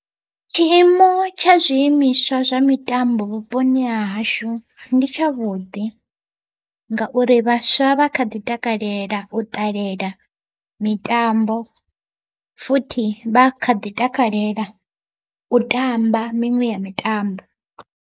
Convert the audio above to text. Tshiimo tsha zwiimiswa zwa mitambo vhuponi hahashu ndi tshavhuḓi, ngauri vhaswa vha kha ḓi takalela u ṱalela mitambo futhi vha kha ḓi takalela u tamba miṅwe ya mitambo.